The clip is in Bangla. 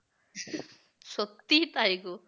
সত্যি তাই গো